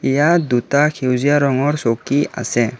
ইয়াত দুটা সেউজীয়া ৰঙৰ চকী আছে।